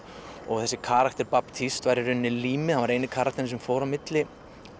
þessi karakter var í rauninni límið hann var eini karakterinn sem fór á milli